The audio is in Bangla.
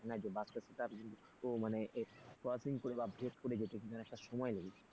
না যে বাসটা টাকে তাড়াতাড়ি ও মানে crossing করে বা ভেদ করে যেতে কিন্তু অনেকটা সময় লেগে যায়।